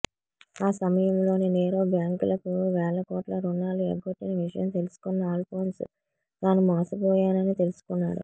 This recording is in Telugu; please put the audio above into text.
ఆ సమయంలో నీరవ్ బ్యాంకులకు వేల కోట్లు రుణాలు ఎగ్గొట్టిన విషయం తెలుసుకున్న ఆల్ఫోన్స్ తాను మోసపోయానని తెలుసుకున్నాడు